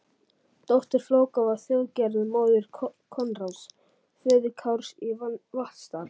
Dóttir Flóka var Þjóðgerður, móðir Koðráns, föður Kárs í Vatnsdal.